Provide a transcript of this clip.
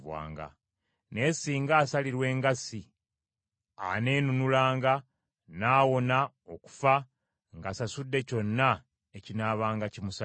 Naye singa asalirwa engassi, aneenunulanga n’awona okufa ng’asasuddeyo kyonna ekinaabanga kimusaliddwa.